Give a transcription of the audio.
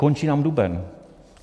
Končí nám duben.